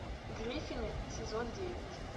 гриффины сезон девять